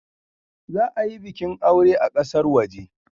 Za a yi bikin aure a kasar waje.